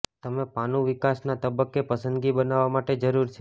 તમે પાનું વિકાસના તબક્કે પસંદગી બનાવવા માટે જરૂર છે